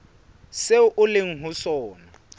seo o leng ho sona